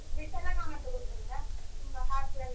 ವಿಠಲರಾಮ್ ಅಂತ ಗೊತ್ತುಂಟಾ? ತುಂಬಾ ಹಾಸ್ಯ ಎಲ್ಲ.